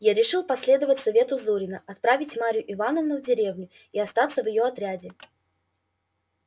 я решил последовать совету зурина отправить марью ивановну в деревню и остаться в его отряде